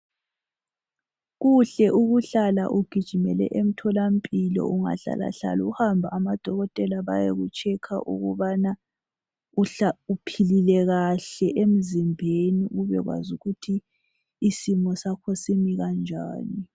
Kuhle ukuhlala ugijimile emtholampilo. Ungahlalahlala uhambe amadokotela bayekutshekha ukubana uphilile kahle emzimbeni, ubekwazi ukuthi isimo sakho simi njani.